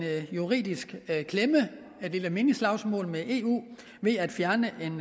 juridisk klemme et lille minislagsmål med eu ved at fjerne en